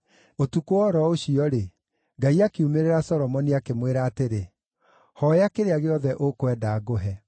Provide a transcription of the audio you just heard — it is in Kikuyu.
Ũtukũ o ro ũcio-rĩ, Ngai akiumĩrĩra Solomoni, akĩmwĩra atĩrĩ, “Hooya kĩrĩa gĩothe ũkwenda ngũhe.”